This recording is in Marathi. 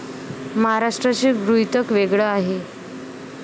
महाराष्ट्राचे गृहीतक वेगळं आहे.